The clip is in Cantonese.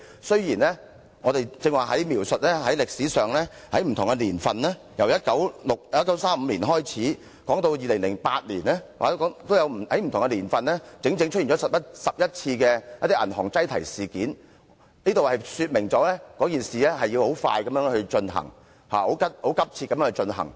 雖然我剛才描述歷史上不同的年份，由1935年開始，說到2008年，在不同年份出現了整整10多次銀行擠提事件，這說明《條例草案》審議事宜必須很快和很急切地進行。